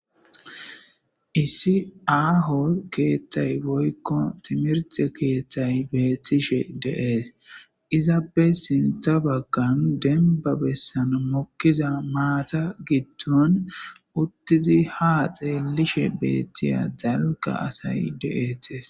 Issi aho kethay woyko timirte kethay betishe de'es izappe sintha bagan mokiza maata gidon uttidi haa xelishe diya dalga asay dees.